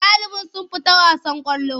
Ɗaliban sun fita wasan ƙwallo.